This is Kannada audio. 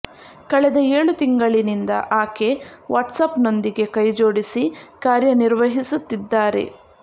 ಕಳೆದ ಏಳು ತಿಂಗಳಿನಿಂದ ಆಕೆ ವಾಟ್ಸ್ ಆಪ್ ನೊಂದಿಗೆ ಕೈಜೋಡಿಸಿ ಕಾರ್ಯ ನಿರ್ವಹಿಸುತ್ತಿದ್ದಾರೆ